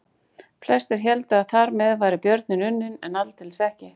Flestir héldu að þar með væri björninn unninn en aldeilis ekki.